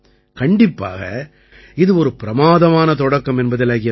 கண்டிப்பாக இது ஒரு பிரமாதமான தொடக்கம் என்பதில் ஐயமில்லை